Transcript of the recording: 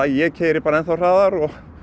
ég keyri bara enn þá hraðar